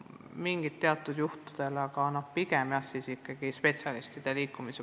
Mingitel teatud juhtudel ehk, aga pigem ikkagi võiksid liikuda spetsialistid.